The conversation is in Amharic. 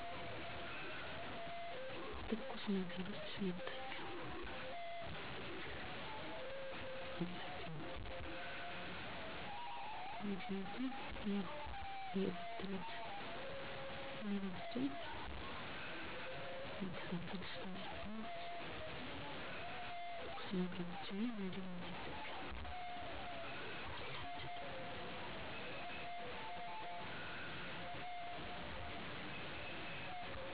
የእኔ ከእለት ተለት ልማዶቼ ውስጥ መንፈሳዊ ቦታ በመገኘት ጤናየን እንዲሰጠኝ፣ ሀገሬን ሰላም እንዲያደርግልኝ፣ ቤተሰቤን እንዲጠብቅልኝ ለፈጣሪየ ፀሎት መድረስ የግል ንፅህናየን መጠበቅ ማህበራዊ ሚዲያዎችን በመጠቀም ምን አዲስ ነገር እንዳለ ማየት እንዲሁም ትኩስ ነገሮችን መጠቀም ከብዙ ልማዶቼ በጥቂቱ እነዚህ ዋናዎቹ ናቸው። ከእነዚህ ውስጥ የኔ ዋናው ልማዴ የግል ንፅህናዬን መጠበቅ ሲሆን በዋነኝነት ጥርሴን ማፅዳት እና መጥፎ ጠረን ሊያመጡ የሚችሉ ቦታዎችን መታጠብ ነው። በመቀጠል በየቀኑ ትኩስ ነገሮችን አዘወትራለሁ ከትኩስ ነገሮች ውስጥ ሻይ እጠቀማለሁ።